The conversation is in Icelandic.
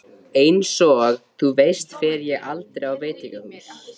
Einsog þú veist fer ég aldrei á veitingahús.